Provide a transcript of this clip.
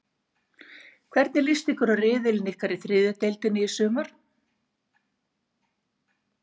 Hvernig list ykkur á riðilinn ykkar í þriðju deildinni í sumar?